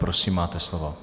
Prosím, máte slovo.